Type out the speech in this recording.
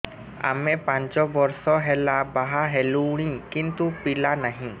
ଆମେ ପାଞ୍ଚ ବର୍ଷ ହେଲା ବାହା ହେଲୁଣି କିନ୍ତୁ ପିଲା ନାହିଁ